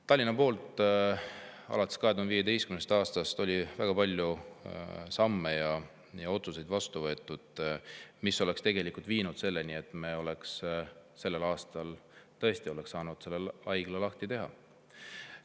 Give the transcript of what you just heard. Tallinna poolt on alates 2015. aastast väga palju samme ja vastu võetud otsuseid, mis oleks tegelikult viinud selleni, et me oleks sellel aastal tõesti saanud selle haigla lahti teha.